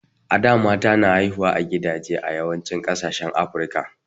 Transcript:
a da mata na hauhuwa a gidaje a yawancin kasashen africa